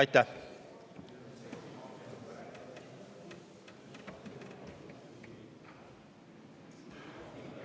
Aitäh!